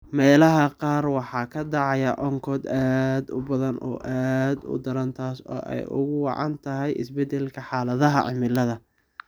Meelaha qaar waxaa ka dhacaya onkod aad u badan oo aad u daran taas oo ay ugu wacan tahay isbedelka xaaladaha cimilada.